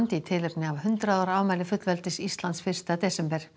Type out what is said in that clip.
í tilefni af hundrað ára afmæli fullveldis Íslands fyrsta desember